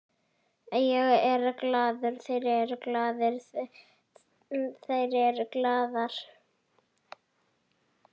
Ég er glaður, þeir eru glaðir, þær eru glaðar.